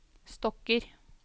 stokker